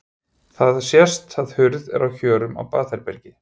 Þá sést að hurð er á hjörum á baðherbergi.